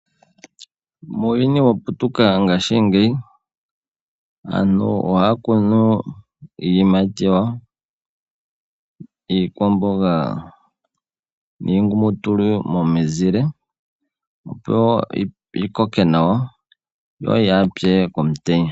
Muuyuni waputuka ngaashingeyi aantu ohaya kunu iiyimati yawo, iikwamboga niingulumutulu momizile opo yikoke nawa no yaapye komutenya.